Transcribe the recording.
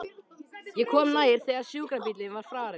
Ég kom nær þegar sjúkrabíllinn var farinn.